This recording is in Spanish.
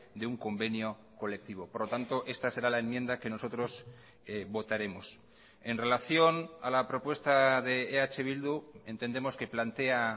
de un convenio colectivo por lo tanto esta será la enmienda que nosotros votaremos en relación a la propuesta de eh bildu entendemos que plantea